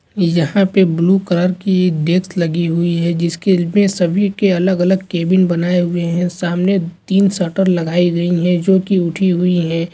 यहाँ पे blue (blue) colour (color) की एक डेक्स (desk) लगी हुई जिसके सभी के अलग अलग केबिन बनाये गए है सामने तीन सट्टार लगाए गए है जो की उठी हुई है .